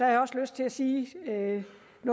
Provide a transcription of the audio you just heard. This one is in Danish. jeg også lyst til at sige noget